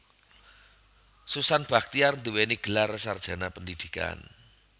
Susan Bachtiar nduwèni gelar sarjana pendhidhikan